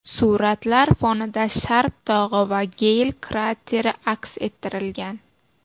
Suratlar fonida Sharp tog‘i va Geyl krateri aks ettirilgan.